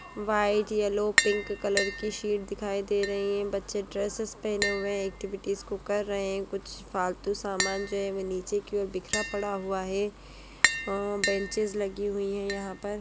white yellow pink colour की sheet दिखाई दे रही है| बच्चे ड्रेसेस पहने हुए हैं एक्टिविटीज को कर रहे हैं| कुछ फालतू सामान जो है वो नीचे की ओर बिखरा पड़ा हुआ है| ह और बेंचेस लगी हुई है यहाँ पर--